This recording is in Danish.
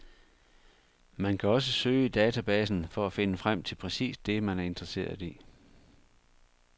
Man kan også søge i databasen for at finde frem til præcis det, man er interesseret i.